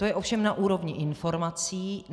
To je ovšem na úrovni informací.